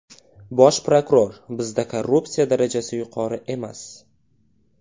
Bosh prokuror: Bizda korrupsiya darajasi yuqori emas.